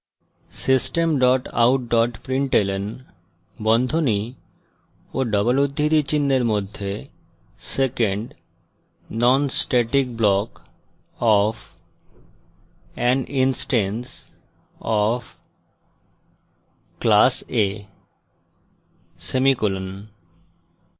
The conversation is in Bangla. system dot out dot println বন্ধনী of double উদ্ধৃতি চিনহের মধ্যে second non static block of an instance of class a semicolon